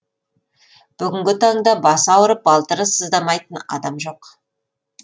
бүгінгі таңда басы ауырып балтыры сыздамайтын адам жоқ